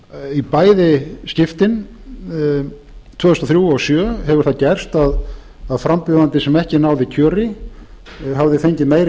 í bæði skiptin tvö þúsund og þrjú og tvö þúsund og sjö hefur það gerist að frambjóðandi sem ekki náði kjöri hafði fengið meiri